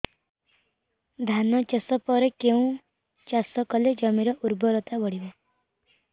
ଧାନ ଚାଷ ପରେ କେଉଁ ଚାଷ କଲେ ଜମିର ଉର୍ବରତା ବଢିବ